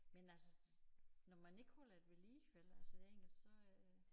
Men altså når man ikke holder det ved lige vel altså det engelske så øh